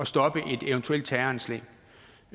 stoppe et eventuelt terroranslag